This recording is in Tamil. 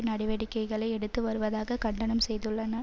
நடவடிக்கைகளை எடுத்து வருவதாக கண்டனம் செய்துள்ளன